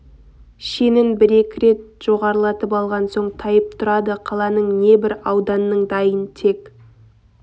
шенін бір-екі рет жоғарылатып алған соң тайып тұрады қаланың не бір ауданның дайын тек